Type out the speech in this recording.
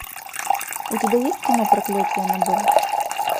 у тебя есть кино проклятие аннабель